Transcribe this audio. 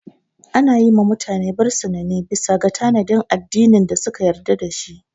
Ana yi ma mutane bisina ne bisa ga tanadin addinin da suka yarda dashi